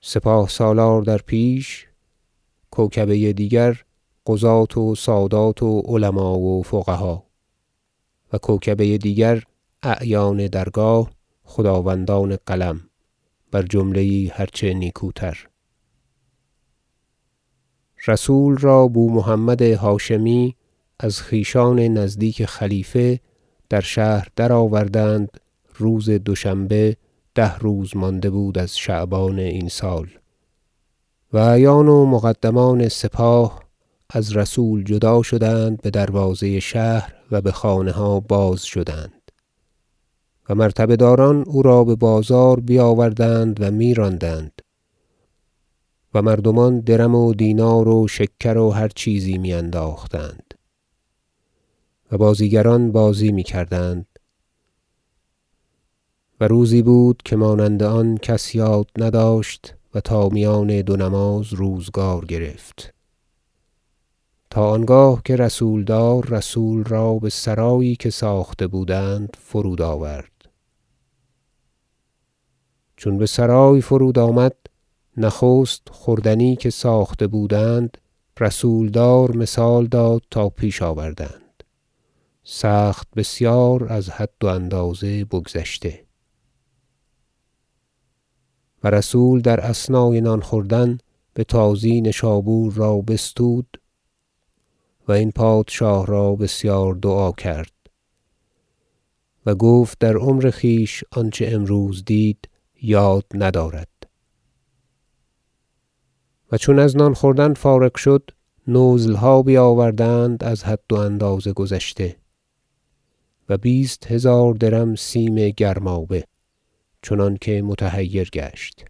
سپاه سالار در پیش کوکبه دیگر قضاة و سادات و علما و فقها و کوکبه دیگر اعیان درگاه خداوندان قلم بر جمله یی هرچه نیکوتر رسول را بومحمد هاشمی از خویشان نزدیک خلیفه در شهر درآوردند روز دوشنبه ده روز مانده بود از شعبان این سال و اعیان و مقدمان سپاه از رسول جدا شدند به دروازه شهر و به خانه ها بازشدند و مرتبه داران او را به بازار بیاوردند و می راندند و مردمان درم و دینار و شکر و هر چیزی می انداختند و بازیگران بازی می کردند و روزی بود که مانند آن کس یاد نداشت و تا میان دو نماز روزگار گرفت تا آنگاه که رسولدار رسول را به سرایی که ساخته بودند فرودآورد چون به سرای فرودآمد نخست خوردنی که ساخته بودند رسولدار مثال داد تا پیش آوردند سخت بسیار از حد و اندازه بگذشته و رسول در اثنای نان خوردن به تازی نشابور را بستود و این پادشاه را بسیار دعا کرد و گفت در عمر خویش آنچه امروز دید یاد ندارد و چون از نان خوردن فارغ شدند نزلها بیاوردند از حد و اندازه گذشته و بیست هزار درم سیم گرمابه چنانکه متحیر گشت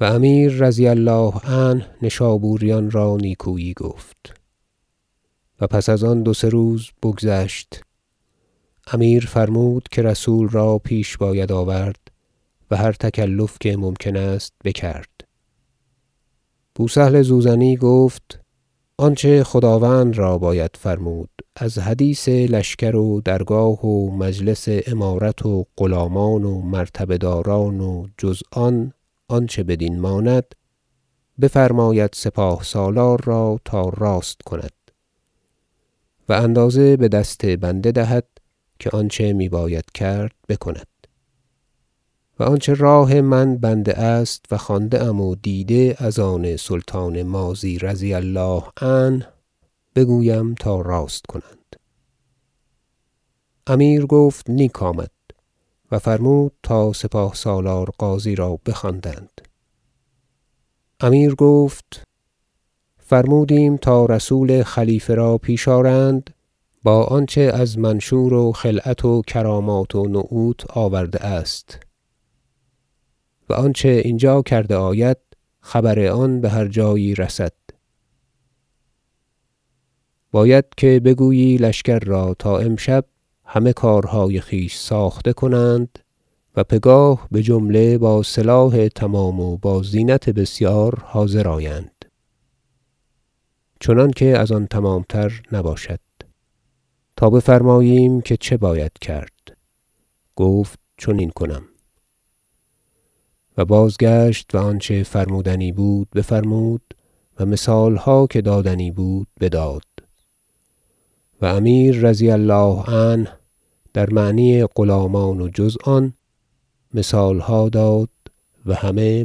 و امیر -رضی الله عنه- نشابوریان را نیکویی گفت و پس از آن دو سه روز بگذشت امیر فرمود که رسول را پیش باید آورد و هر تکلف که ممکن است بکرد بوسهل زوزنی گفت آنچه خداوند را باید فرمود از حدیث لشکر و درگاه و مجلس امارت و غلامان و مرتبه داران و جز آن آنچه بدین ماند بفرماید سپاه سالار را تا راست کند و اندازه به دست بنده دهد که آنچه می باید کرد بکند و آنچه راه من بنده است و خوانده ام و دیده از آن سلطان ماضی -رضی الله عنه- بگویم تا راست کنند امیر گفت نیک آمد و فرمود تا سپاه سالار غازی را بخواندند امیر گفت فرمودیم تا رسول خلیفه را پیش آرند با آنچه از منشور و خلعت و کرامات و نعوت آورده است و آنچه اینجا کرده آید خبر آن به هر جایی رسد باید که بگویی لشکر را تا امشب همه کارهای خویش ساخته کنند و پگاه بجمله با سلاح تمام و با زینت بسیار حاضر آیند چنانکه از آن تمامتر نباشد تا بفرماییم که چه باید کرد گفت چنین کنم و بازگشت و آنچه فرمودنی بود بفرمود و مثالها که دادنی بود بداد و امیر -رضی الله عنه- در معنی غلامان و جز آن مثالها داد و همه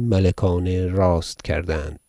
ملکانه راست کردند